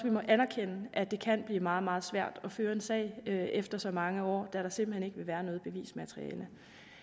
må anerkende at det kan blive meget meget svært at føre en sag efter så mange år da der simpelt hen ikke vil være noget bevismateriale